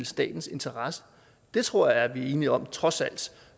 statens interesse det tror jeg vi er enige om trods